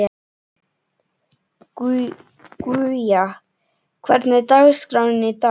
Guja, hvernig er dagskráin í dag?